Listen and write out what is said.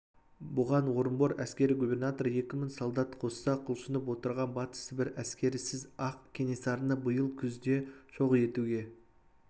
бұған орынбор әскери губернаторы екі мың солдат қосса құлшынып отырған батыс сібір әскерісіз-ақ кенесарыны биыл күзде жоқ етуге